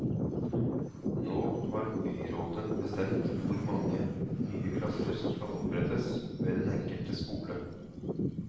Nå har byrådet bestemt hvor mange nye klasser som skal opprettes ved den enkelte skole.